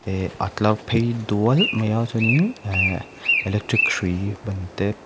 eh a tlar phei dual mai a chuanin ehh electric hrui ban te.